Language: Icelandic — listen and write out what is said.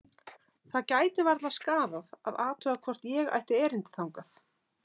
Það gæti varla skaðað að athuga hvort ég ætti erindi þangað.